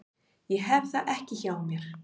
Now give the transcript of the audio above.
Ég hef það ekki hjá mér.